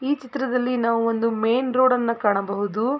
ಈ ಚಿತ್ರದಲ್ಲಿ ನಾವು ಒಂದು ಮೇನ್ ರೋಡ್ ನ್ನು ಕಾಣಬಹುದು.